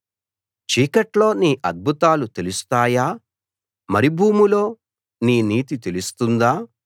చీకట్లో నీ అద్భుతాలు తెలుస్తాయా మరుభూమిలో నీ నీతి తెలుస్తుందా